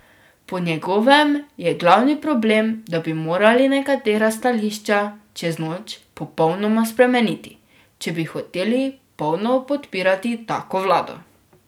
Po njegovem je glavni problem, da bi morali nekatera stališča čez noč popolnoma spremeniti, če bi hoteli polno podpirati tako vlado.